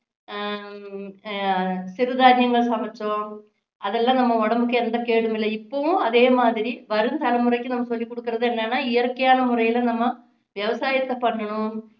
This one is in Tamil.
ஹம் சிறுதானியங்கள் சமைச்சோம் அதெல்லாம் நம்ம உடம்புக்கு எந்த கேடும் இல்லை இப்போவும் அதே மாதிரி வரும் தலைமுறைக்கு நம்ம சொல்லிkகுடுக்குறது என்னன்னா இயற்கையான முறையில நம்ம விவசாயத்தை பண்ணணும்